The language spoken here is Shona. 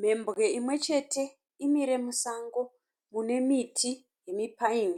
Mhembwe imwe chete imire musango mune miti miPine.